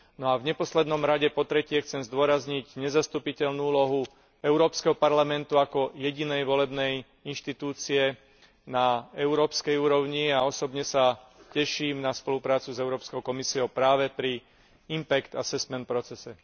No a v neposlednom rade, po tretie, chcem zdôrazniť nezastupiteľnú úlohu Európskeho parlamentu ako jedinej volenej inštitúcie na európskej úrovni a osobne sa teším na spoluprácu s Európskou komisiou práve pri Impact Assessment procese.